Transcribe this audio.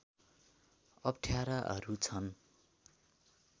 अप्ठ्याराहरू छन्